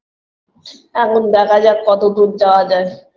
এখন দেখা যাক কতদূর যাওয়া যায়